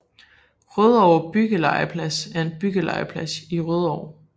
Rødovre Byggelegeplads er en byggelegeplads i Rødovre